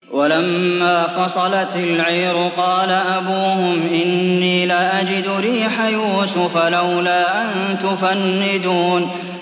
وَلَمَّا فَصَلَتِ الْعِيرُ قَالَ أَبُوهُمْ إِنِّي لَأَجِدُ رِيحَ يُوسُفَ ۖ لَوْلَا أَن تُفَنِّدُونِ